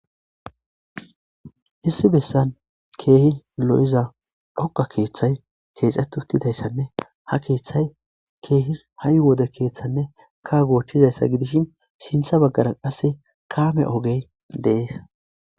Issi bessan keehi lo7iza dhoqqa keeththay keexeththi7uththizanne ha keeththay keehi ha7i wode keeththanne kaawothizayssa gidishin sinththe baggaara qassi kaame ogee de7ees.